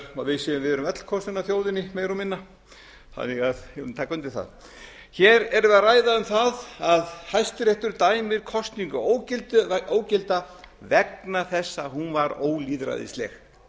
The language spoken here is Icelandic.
og við séum öll kosin af þjóðinni meira og minna ég vil nú taka undir það hér erum við að ræða um það að hæstiréttur dæmir kosningu ógilda vegna þess að hún var ólýðræðisleg